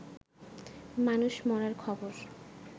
মানুষ মরার খবর